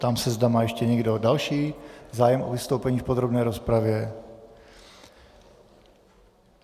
Ptám se, zda má ještě někdo další zájem o vystoupení v podrobné rozpravě.